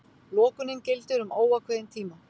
Lokunin gildir um óákveðinn tíma